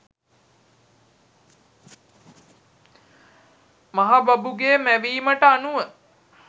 මහ බඹුගේ මැවීමට අනුව